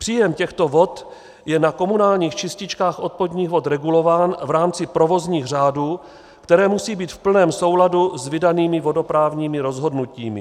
Příjem těchto vod je na komunálních čističkách odpadních vod regulován v rámci provozních řádů, které musí být v plném souladu s vydanými vodoprávními rozhodnutími.